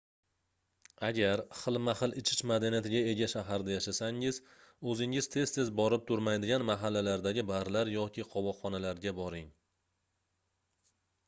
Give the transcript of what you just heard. agar xilma-xil ichish madaniyatiga ega shaharda yashasangiz oʻzingiz tez-tez borib turmaydigan mahallalardagi barlar yoki qovoqxonalarga boring